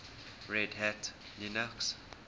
red hat linux